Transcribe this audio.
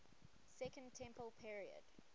second temple period